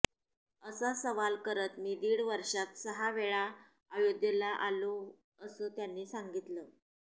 असा सवाल करत मी दीड वर्षात सहा वेळा अयोध्येला आलो असं त्यांनी सांगितलं